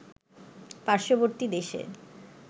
পার্শ্ববর্তী দেশে